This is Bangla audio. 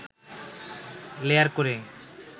লেয়ার করে